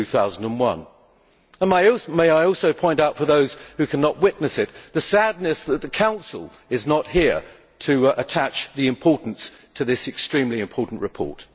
2001. Let me also point out for those who cannot witness it, the sadness that the Council is not here to attach the due importance to this extremely important report.